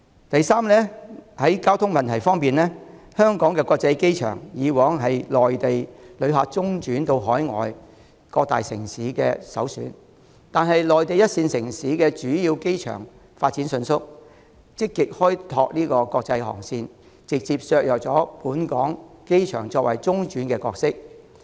第三，在交通問題方面，香港國際機場以往是內地旅客中轉到海外各大城市的首選，但內地一線城市的主要機場發展迅速，積極開拓國際航線，直接削弱本港機場作為中轉站的角色。